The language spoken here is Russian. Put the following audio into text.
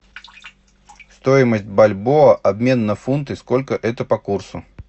стоимость бальбоа обмен на фунты сколько это по курсу